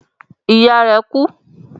Ìyá rẹ̀ kú.